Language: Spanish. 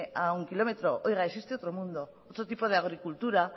a un kilómetro oiga existe otro mundo otro tipo de agricultura